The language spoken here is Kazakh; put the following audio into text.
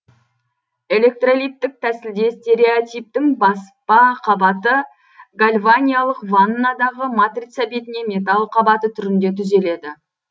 электролиттік тәсілде стереотиптің баспа қабаты гальваниялық ваннадағы матрица бетіне металл қабаты түрінде түзеледі